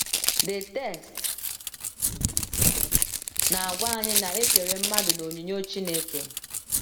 the text na - agwa anyị na e kere mmadụ n’onyinyo Chineke.